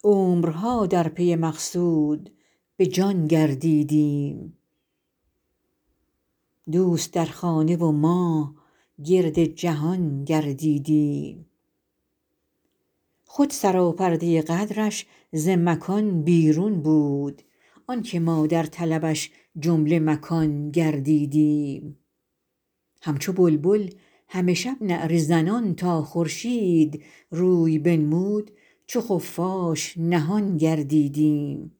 عمرها در پی مقصود به جان گردیدیم دوست در خانه و ما گرد جهان گردیدیم خود سراپرده قدرش ز مکان بیرون بود آن که ما در طلبش جمله مکان گردیدیم همچو بلبل همه شب نعره زنان تا خورشید روی بنمود چو خفاش نهان گردیدیم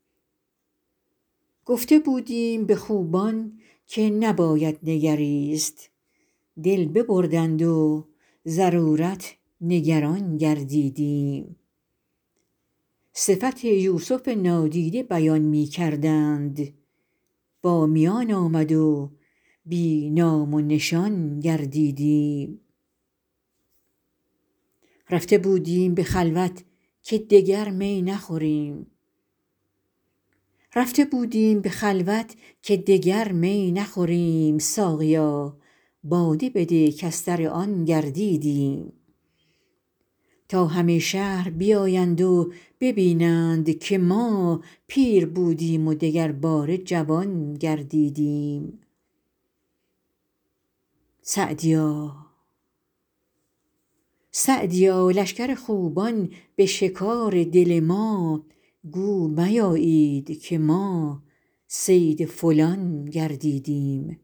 گفته بودیم به خوبان که نباید نگریست دل ببردند و ضرورت نگران گردیدیم صفت یوسف نادیده بیان می کردند با میان آمد و بی نام و نشان گردیدیم رفته بودیم به خلوت که دگر می نخوریم ساقیا باده بده کز سر آن گردیدیم تا همه شهر بیایند و ببینند که ما پیر بودیم و دگرباره جوان گردیدیم سعدیا لشکر خوبان به شکار دل ما گو میایید که ما صید فلان گردیدیم